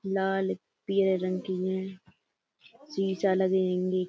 लाल पीले रंग की हैं शीशा लगे हेंगे।